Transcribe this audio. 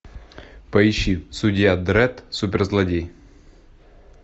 поищи судья дредд суперзлодей